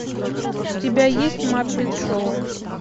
у тебя есть маппет шоу